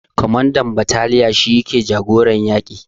Kwamandan bataliya shi yake jagoran yaƙi